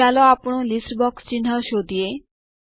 ચાલો આપણું list box ચિહ્ન શોધીએ